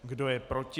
Kdo je proti?